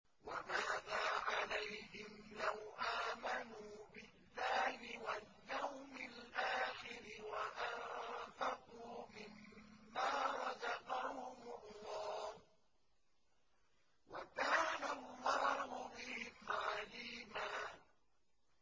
وَمَاذَا عَلَيْهِمْ لَوْ آمَنُوا بِاللَّهِ وَالْيَوْمِ الْآخِرِ وَأَنفَقُوا مِمَّا رَزَقَهُمُ اللَّهُ ۚ وَكَانَ اللَّهُ بِهِمْ عَلِيمًا